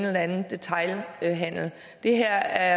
den anden detailhandel det her